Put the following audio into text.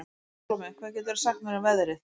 Salome, hvað geturðu sagt mér um veðrið?